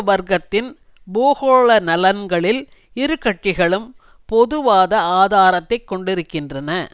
வர்க்கத்தின் பூகோள நலன்களில் இரு கட்சிகளும் பொது வாத ஆதாரத்தை கொண்டிருக்கின்றன